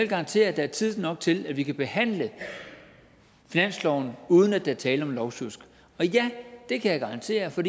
garantere at der er tid nok til at vi kan behandle finansloven uden at der er tale om lovsjusk og ja det kan jeg garantere for